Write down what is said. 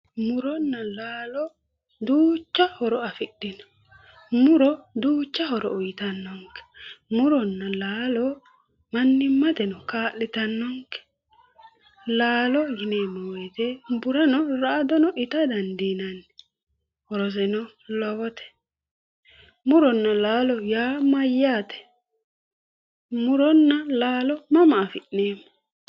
Muronna laalo duucha horo afidhino. Muro duucha horo uyitannonke. Muronna laalo mannimmateno kaa'litaanke. Laalo yinanni woyite burano ra"adono ita dandiinanni. Horoseno lowote. Muronna laalo yaa mayyaate? Muronna laalo mama afi'neemmo.